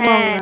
হ্যাঁ